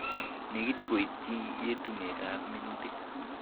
Nekit koityi yetunetab minuutik